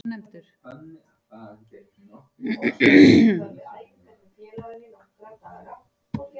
Samstaða þyrfti að ríkja um brotthvarfið